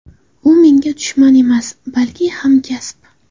U menga dushman emas, balki hamkasb.